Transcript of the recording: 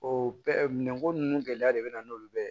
O bɛɛ minɛ ko nunnu gɛlɛya de be na n'olu bɛɛ ye